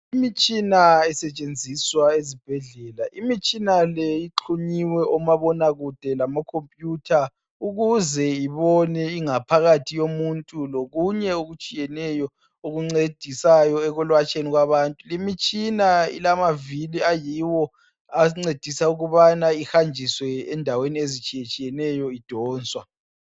Imitshina esetshenziswa ezibhedlela imitshina le ixhunyiwe omabonakakude lamakhompuyutha ukuze ibona ingaphakathi yomuntu lokunye okutshiyeneyo okuncedisayo ekulatshweni kwabantu, limitshina ilamavili ayiwo ancedisa ukubana ihanjiswe endaweni ezitshiyetshiyeneyo idonswa.